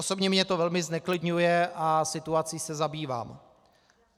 Osobně mě to velmi zneklidňuje a situací se zabývám.